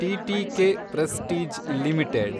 TTK Prestige limited